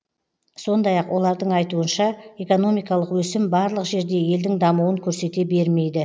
сондай ақ олардың ойынша экономикалық өсім барлық жерде елдің дамуын көрсете бермейді